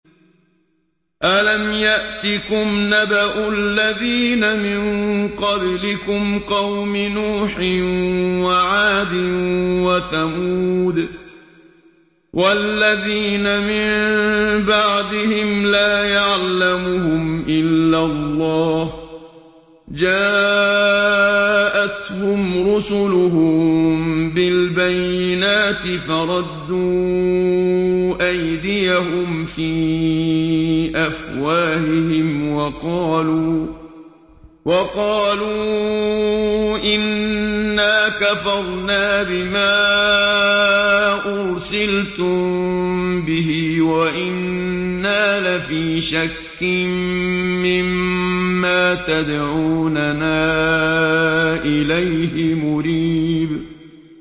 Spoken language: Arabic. أَلَمْ يَأْتِكُمْ نَبَأُ الَّذِينَ مِن قَبْلِكُمْ قَوْمِ نُوحٍ وَعَادٍ وَثَمُودَ ۛ وَالَّذِينَ مِن بَعْدِهِمْ ۛ لَا يَعْلَمُهُمْ إِلَّا اللَّهُ ۚ جَاءَتْهُمْ رُسُلُهُم بِالْبَيِّنَاتِ فَرَدُّوا أَيْدِيَهُمْ فِي أَفْوَاهِهِمْ وَقَالُوا إِنَّا كَفَرْنَا بِمَا أُرْسِلْتُم بِهِ وَإِنَّا لَفِي شَكٍّ مِّمَّا تَدْعُونَنَا إِلَيْهِ مُرِيبٍ